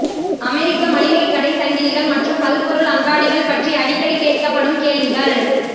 அமெரிக்க மளிகை கடை சங்கிலிகள் மற்றும் பல்பொருள் அங்காடிகள் பற்றி அடிக்கடி கேட்கப்படும் கேள்விகள்